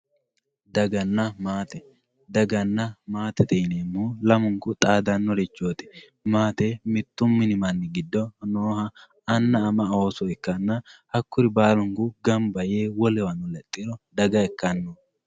daganna maate daganna maate yineemmohu lamunku xaadannorichooti maate mittu mini manni giddo nnoha anna ama ooso ikkanna hakkuri baalu gamba yee wolewano lexxiro daga ikkanno.